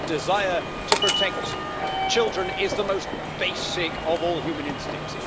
The desire to protect children is the most basic of all human instincts.